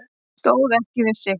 Stóð ekki við sitt